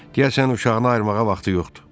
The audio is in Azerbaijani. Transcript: Deyəsən uşağına ayırmağa vaxtı yoxdur.